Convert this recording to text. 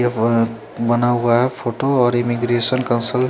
ये वो बना हुआ है फोटो और इमिग्रीएसन कंसल--